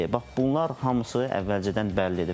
Bax bunlar hamısı əvvəlcədən bəllidir.